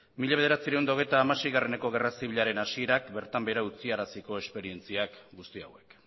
mila bederatziehun eta hogeita hamaseieko gerra zibilaren hasierak bertan behera utziaraziko esperientzia guzti hauek